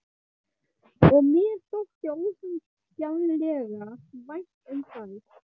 Og mér þótti ósegjanlega vænt um þær.